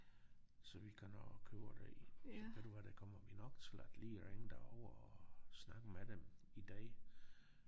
Så vi kan nå at købe det i ved du hvad der kommer vi nok til at lige ringe derover og snakke med dem i dag